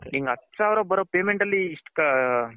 ಹತ್ತ್ ಸಾವಿರ ಬರೋ payment ಅಲ್ಲಿ